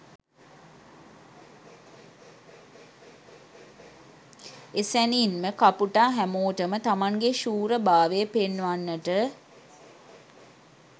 එසැනින්ම කපුටා හැමෝටම තමන්ගේ ශූරභාවය පෙන්වන්නට